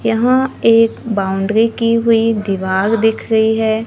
यहां एक बाउंड्री की हुई दीवार दिख रही है।